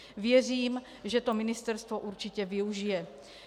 Věřím, že to ministerstvo určitě využije.